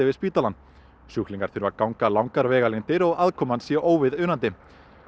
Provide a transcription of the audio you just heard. við spítalann sjúklingar þurfi að ganga langar vegalengdir og aðkoman sé óviðunandi